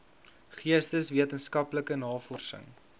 geesteswetenskaplike navorsing rgn